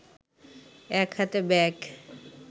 এক হাতে ব্যাগ